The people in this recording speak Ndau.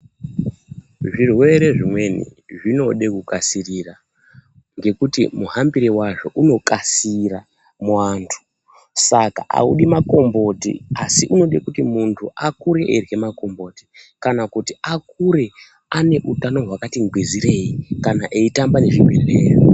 Zvirwere zvimweni zvinode kukasirira ngekuti muhambire wazvo unokasira muwantu, saka audi makomboti asi unode kuti muntu akure eirye makomboti kana kuti akure ane utano hwakati ngwizirei, kana eyitamba nezvibhedhleya.